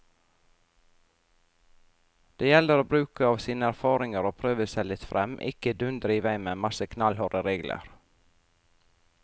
Det gjelder å bruke av sine erfaringer og prøve seg litt frem, ikke dundre i vei med en masse knallharde regler.